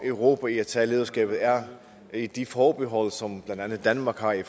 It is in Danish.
europa i at tage lederskabet er er de forbehold som blandt andet danmark har i